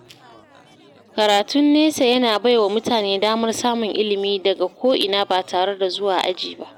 Karatun nesa yana bai wa mutane damar samun ilimi daga ko’ina ba tare da zuwa aji ba.